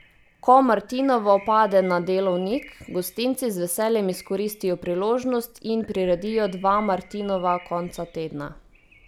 Ko martinovo pade na delovnik, gostinci z veseljem izkoristijo priložnost in priredijo dva martinova konca tedna.